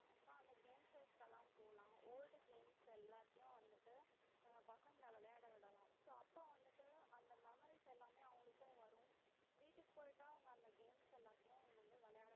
அஹ் அந்த game shows எல்லாம் போலாம் old games எல்லாத்தையும் வந்துட்டு பசங்களை விளையாட விடலாம் so அப்ப வந்துட்டு அந்த memories எல்லாமே வரும் வீட்டுக்கு போயிட்டும் அவங்க அந்த games எல்லாத்தையும் வந்து விளையாடு